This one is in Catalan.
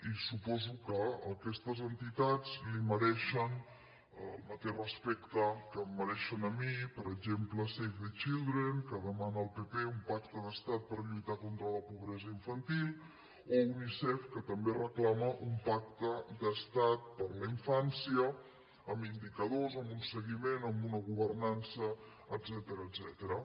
i suposo que aquestes entitats li mereixen el mateix respecte que em mereixen a mi per exemple save the children que demana al pp un pacte d’estat per lluitar contra la pobresa infantil o unicef que també reclama un pacte d’estat per la infància amb indicadors amb un seguiment amb una governança etcètera